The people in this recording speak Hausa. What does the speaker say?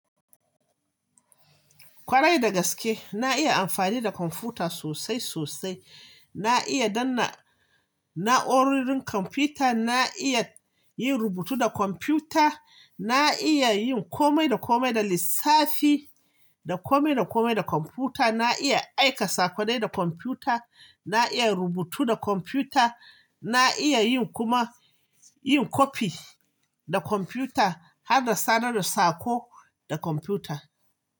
Kwarai dagaske, na iya amfani da kwamfuta sosai sosai. Na iya danna na'urorin kwamfuta, na iya yin rubutu da kwamfuta, na iya yin kome da kome da lissafi da kome da kome da kwamfuta, na iya aika sakonai da kwamfuta, na iya rubutu da kwamfuta, na iya yin kuma yin copy da kwamfuta har da sanar da sako da kwamfuta.